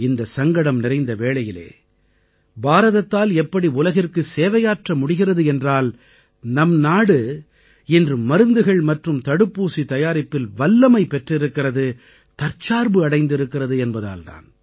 இந்தச் சங்கடம் நிறைந்த வேளையில் பாரதத்தால் எப்படி உலகிற்கு சேவையாற்ற முடிகிறது என்றால் நம் நாடு இன்று மருந்துகள் மற்றும் தடுப்பூசி தயாரிப்பில் வல்லமை பெற்றிருக்கிறது தற்சார்பு அடைந்திருக்கிறது என்பதால் தான்